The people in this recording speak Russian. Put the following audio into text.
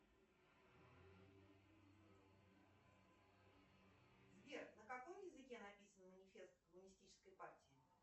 сбер на каком языке написан манифест коммунистической партии